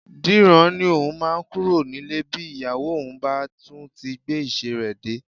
Dìran ni òun máa kúrò nílé bí ìyàwó òun bá tún ti gbé ìṣe rẹ dé